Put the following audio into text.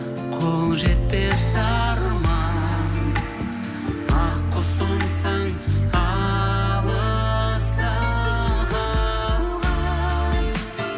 қол жетпес арман ақ құсымсың алыста қалған